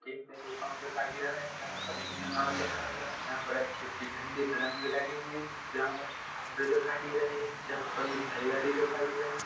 एक petrol pump दिखाई दे रहा है जहाँ पर इंडियन ऑयल लिखा हुआ है जहाँ पर अच्छे-अच्छे झंडे तिरंगे लगे हुए हैं जहाँ पर कुछ खंबे दिखाई दे रहे हैं जहाँ पर मुझे हरियाली दिखाई दे रही--